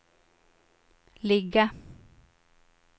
ligga